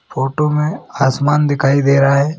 Photo में आसमान दिखाई दे रहा है।